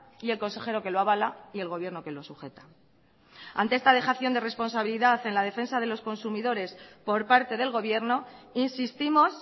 y el consejero que lo avala y el gobierno que lo sujeta ante esta dejación de responsabilidad en la defensa de los consumidores por parte del gobierno insistimos